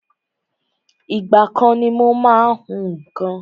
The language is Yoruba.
Ìgbà kan ni mo má ń hún nǹkan